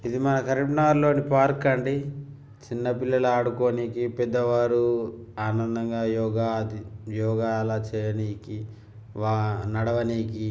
మన కరీంనగర్ లోని పార్క్ అండీ చిన్న పిల్లలు ఆడుకొనేకి పెద్ద వారు ఆనందంగా యోగ అది యోగ చెయ్యడానికి ఆ నడవనికి --